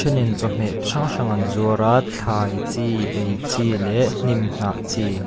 a then in chawhmeh chi hrang hrang an zuar a thlai chi ei chi leh hnim hnah chi.